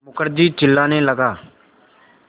मुखर्जी चिल्लाने लगा